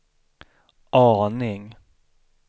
aning